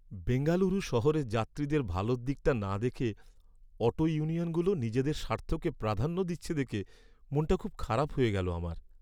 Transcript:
বেঙ্গালুরু শহরের যাত্রীদের ভালোর দিকটা না দেখে অটো ইউনিয়নগুলো নিজেদের স্বার্থকে প্রাধান্য দিচ্ছে দেখে মনটা খুব খারাপ হয়ে গেলো আমার।